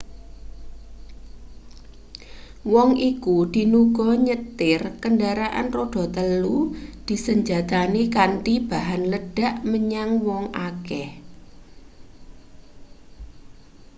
wong iku dinuga nyetir kendharaan rodha-telu disenjatani kanthi bahan ledhak menyang wong akeh